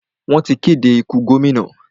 Wọ́n ti kéde ikú gómìnà.